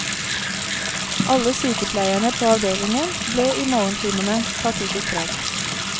Alle sykepleierne på avdelingen ble i morgentimene tatt ut i streik.